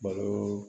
Balo